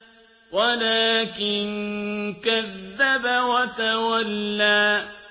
وَلَٰكِن كَذَّبَ وَتَوَلَّىٰ